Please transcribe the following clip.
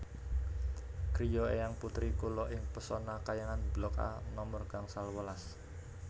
griya eyang putri kula ing Pesona Khayangan blok A nomer gangsal welas